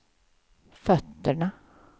fötterna